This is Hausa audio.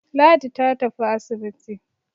Ladi ta tafi asibiti.